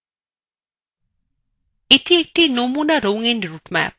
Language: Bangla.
এটি একটি নমুনা রঙ্গিন হয় রুটম্যাপ